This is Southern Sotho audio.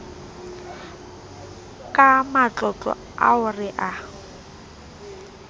ka matlotlo ao re a